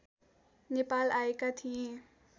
नेपाल आएका थिए